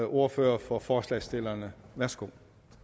ordfører for forslagsstillerne værsgo